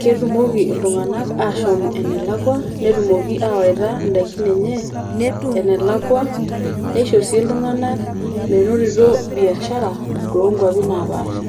ketumoki iltung'anak ashom enelakwa netumoki sii awaita in'daiki enye enelakwa neisho sii iltunganak menotito biashara too nkwapi naapaasha.